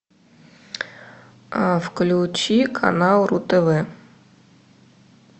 включи канал ру тв